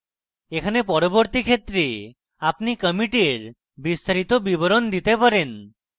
এখানে পরবর্তী ক্ষেত্রে আপনি কমিটের বিস্তারিত বিবরণ দিতে পারেন